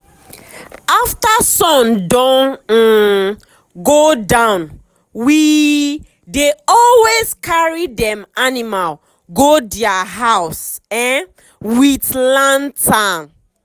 after sun don um go downwe um dey always carry dem animal go dia house um with lantern.